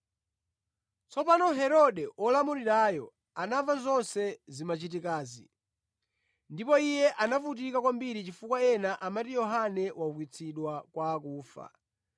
Tsopano Herode olamulirayo anamva zonse zimachitikazi. Ndipo iye anavutika kwambiri chifukwa ena amati Yohane waukitsidwa kwa akufa,